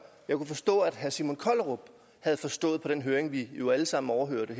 jeg kunne forstå at herre simon kollerup havde forstået på den høring vi alle sammen overhørte